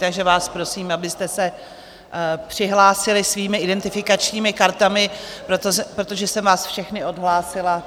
Takže vás prosím, abyste se přihlásili svými identifikačními kartami, protože jsem vás všechny odhlásila.